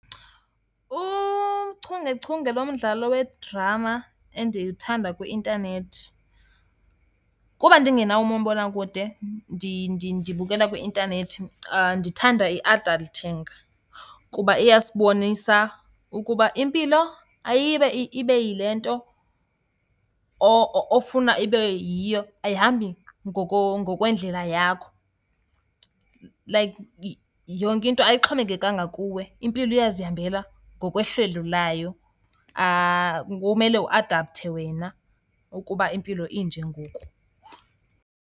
Uchungechunge lomdlalo wedrama endiwuthanda kwi-intanethi, kuba ndingenawo umabonakude ndibukela kwi-intanethi, ndithanda iAdulting. Kuba iyasibonisa ukuba impilo ayiye ibe yilento ofuna ibe yiyo, ayihambi ngokwendlela yakho. Like yonke into ayixhomekekanga kuwe, impilo iyazihambela ngokwehlelo layo, kumele uadapthe wena ukuba impilo inje ngoku.